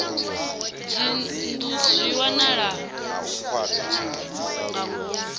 dzinnu zwi wanala nga ngomu